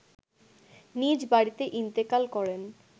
নিজ বাড়িতে ইন্তেকাল করেন